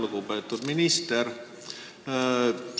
Lugupeetud minister!